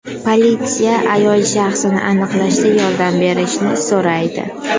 Politsiya ayol shaxsini aniqlashda yordam berishni so‘raydi.